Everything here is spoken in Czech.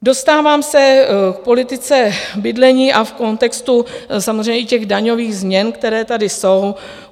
Dostávám se k politice bydlení a v kontextu samozřejmě i těch daňových změn, které tady jsou.